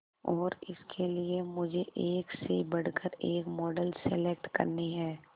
और इसके लिए मुझे एक से बढ़कर एक मॉडल सेलेक्ट करनी है